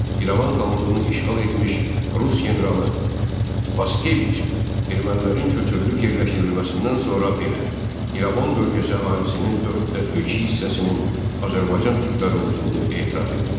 İrəvan xanlığını işğal etmiş Rus generalı Paskeviç ermənilərin köçürülüb yerləşdirilməsindən sonra belə, İrəvan bölgəsi əhalisinin dörddə üç hissəsinin Azərbaycan türkləri olduğunu etiraf edirdi.